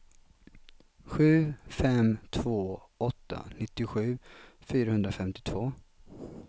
sju fem två åtta nittiosju fyrahundrafemtiotvå